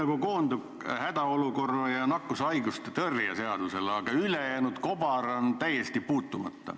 Kõik koondub nagu hädaolukorra seaduse ning nakkushaiguste ennetamise ja tõrje seaduse ümber, aga ülejäänud kobar on täiesti puutumata.